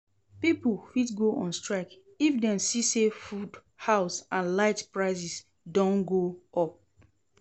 Pipo fit go on strike if dem see say food, house and light prices don go up